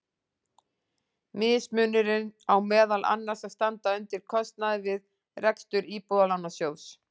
Mismunurinn á meðal annars að standa undir kostnaði við rekstur Íbúðalánasjóðs.